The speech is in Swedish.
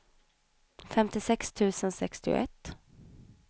femtio tusen sextioett